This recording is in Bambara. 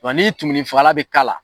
Wa ni tumunifagala bɛ k'a la